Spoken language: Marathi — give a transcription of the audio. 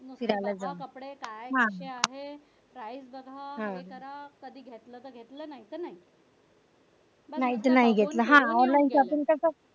size बघा हे करा कधी घेतलं तर घेतलं नाहीतर नाही